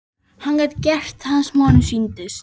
Hann gat gert það sem honum sýndist.